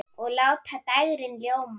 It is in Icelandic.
Og láta dægrin ljóma.